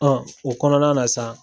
Ɔn o kɔnɔna na sa